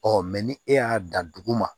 Ɔ ni e y'a dan dugu ma